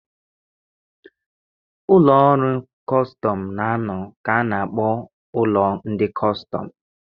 Ụlọ ndị ọrụ kọstọm na-anọ ka a na-akpọ ụlọ ndị kọstọm.